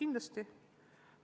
Kindlasti!